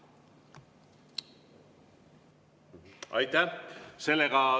Aitäh!